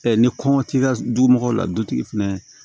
ni kɔngɔ t'i ka du mɔgɔw la dutigi fɛnɛ